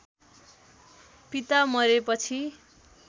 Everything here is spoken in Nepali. पिता मरेपछि